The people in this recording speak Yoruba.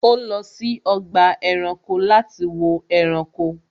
Ó lọ sí ọgbà ẹranko láti wo ẹranko